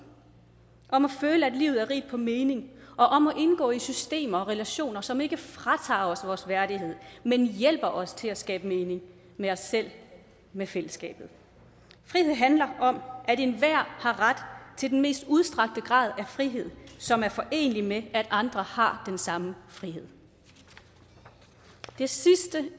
om at føle at livet er rigt på mening og om at indgå i systemer og relationer som ikke fratager os vores værdighed men hjælper os til at skabe mening med os selv med fællesskabet frihed handler om at enhver har ret til den mest udstrakte grad af frihed som er forenelig med at andre har den samme frihed det sidste